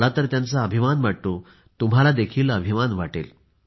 मला तर अभिमान वाटतो तुम्हाल देखील अभिमान वाटेल